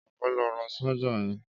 Éló ló rá ṣàjá yẹn?